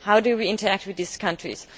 How will we interact with these countries?